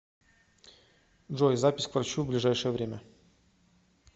джой запись к врачу в ближайшее время